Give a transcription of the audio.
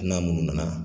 Hali n'a munnu nana